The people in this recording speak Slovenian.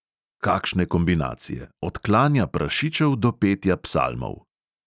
Kakšne kombinacije: od klanja prašičev do petja psalmov!